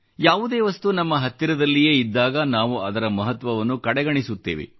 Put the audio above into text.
ಯಾವುದೇ ವಸ್ತು ನಮ್ಮ ಹತ್ತಿರದಲ್ಲಿಯೇ ಇದ್ದಾಗ ನಾವು ಅದರ ಮಹತ್ವವನ್ನು ಕಡೆಗಣಿಸುತ್ತೇವೆ